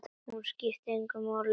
Hún skipti hann engu máli.